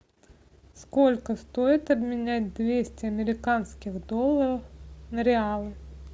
сколько стоит обменять двести американских долларов на реалы